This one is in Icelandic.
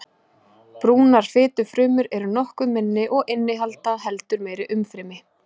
Brúnar fitufrumur eru nokkuð minni og innihalda heldur meira umfrymi.